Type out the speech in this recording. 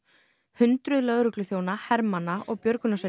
hundruð lögregluþjóna hermanna og